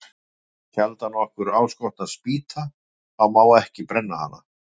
Nei, þá sjaldan okkur áskotnast spýta, þá má ekki brenna hana.